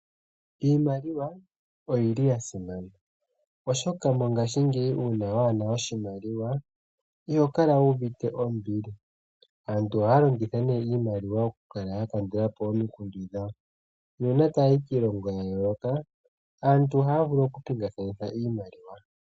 Iimaliwa oyili ya simana oshoka mongashingeyi uuna wana oshimaliwa iho kala wuvite ombili. Aantu ohaya longitha ne iimaliwa okukala ya kandulapo omikundu dhawo nuuna tayayi kiilongo ya yooloka aantu ohaya vulu oku pingakaneka Iimaliwa.